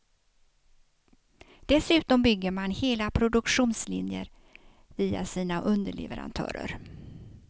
Dessutom bygger man hela produktionslinjer via sina underleverantörer.